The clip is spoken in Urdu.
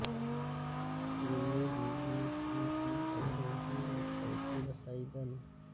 چین میں بی بی سی کی انگریزی ویب سائٹ کی رسائی بند